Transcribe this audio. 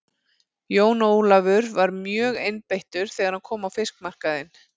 Jón Ólafur var mjögeinbeittur þegar hann kom á fiskmarkaðinn.